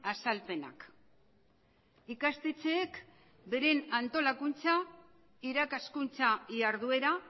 azalpenak ikastetxeek beren antolakuntza irakaskuntza jarduera